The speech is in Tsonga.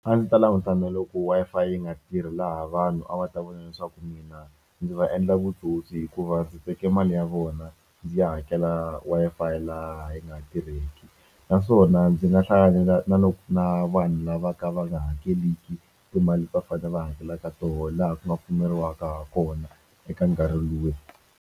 A ndzi ta languta na loko Wi-Fi yi nga tirhi laha vanhu a va ta vona leswaku mina ndzi va endla vutsotsi hikuva ndzi teke mali ya vona ndzi ya hakela Wi-Fi laha yi nga tirheki naswona ndzi nga hlanganela na na vanhu lava ka va nga hakeliki timali va fane va hakelaka toho laha ku nga pfumeriwaka ha kona eka nkarhi luwa.